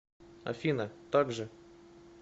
афина так же